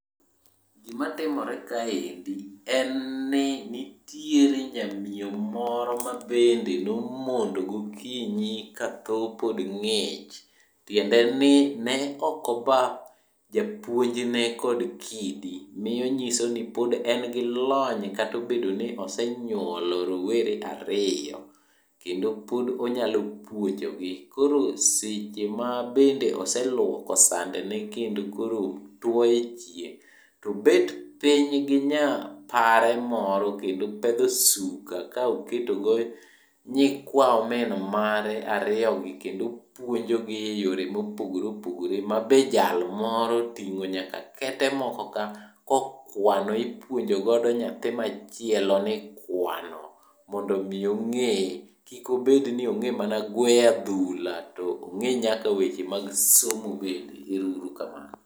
Gimatimore kaendi, en ni nitiere nyamiyo moro mabende nomondo gokinyi katho ng'ich. Tiende ni ne okoba japunjne kod kidi, miyo nyisoni pod en kod lony kotobedo ni osenyuolo rowere ariyo kendo pod onyalo puonjogi. Koro sechema bende oseluoko sandene kendo koro two e chieng' tobet piny gi nya pare moro kendo opedho suka kaoketogo nyikwa omin mare ariyogi kendo puonjogi e yore mopogore opogore. Ma be jal moro oting'o nyaka kete moko ka, kokwano ipuonjogodo nyathi machielo ni ikwano mondo mi ong'e. Kikobed ni ong'e mana gweyo adhula to ong'e nyaka weche mag somo bende. Ero uru kamano.